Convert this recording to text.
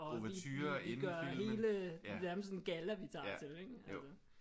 Ouverture inden filmen ja ja jo